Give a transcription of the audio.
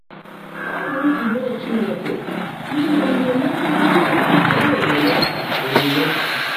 Ọ́ bụ́ nzụ́be Chínekè íme íhe meègídé ndị́ ájọ́ ómuumé. ómuumé.